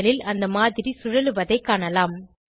panel ல் அந்த மாதிரி சுழலுவதைக் காணலாம்